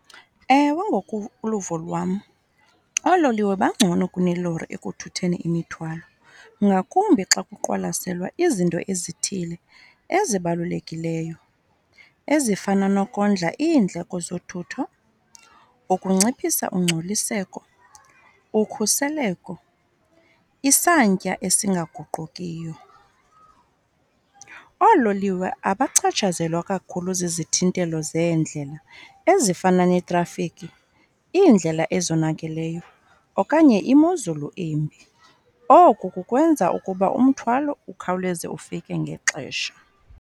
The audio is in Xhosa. Ewe, ngokoluvo lwam oololiwe bangcono kunelori ekuthutheni imithwalo ngakumbi xa kuqwalaselwa izinto ezithile ezibalulekileyo ezifana nokondla iindleko zothutho, ukunciphisa ungcoliseko, ukhuseleko, isantya esingaguqukiyo. Oololiwe abachatshazelwa kakhulu zizithintelo zeendlela ezifana neetrafikhi, iindlela ezonakeleyo, okanye imozulu imbi. Oku kukwenza ukuba umthwalo ukhawuleze ufike ngexesha.